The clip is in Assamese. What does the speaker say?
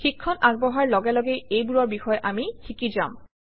শিক্ষণ আগবঢ়াৰ লগে লগে এইবোৰৰ বিষয়ে আমি শিকি যাম